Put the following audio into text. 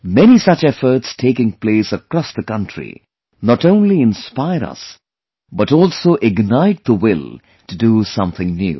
Many such efforts taking place across the country not only inspire us but also ignite the will to do something new